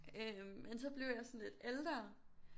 Øh men så blev jeg sådan lidt ældre